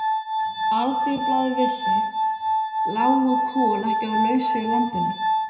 Alþýðublaðið vissi, lágu kol ekki á lausu í landinu.